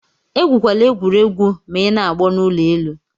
Egwukwala egwuregwu ma ị na-agbo n'ụlọ elu.